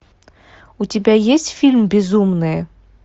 у тебя есть фильм безумные